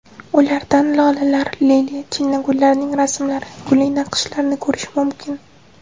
Ularda lolalar, liliya, chinnigullarning rasmlari, gulli naqshlarni ko‘rish mumkin.